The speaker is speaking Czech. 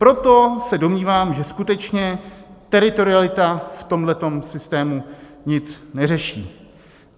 Proto se domnívám, že skutečně teritorialita v tomhle systému nic neřeší.